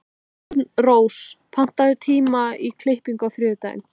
Arnrós, pantaðu tíma í klippingu á þriðjudaginn.